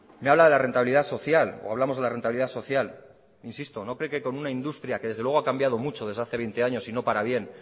me habla de la rentabilidad social o hablamos de la rentabilidad social insisto no cree que con una industria que desde luego ha cambiado mucho desde hace veinte años y no para bien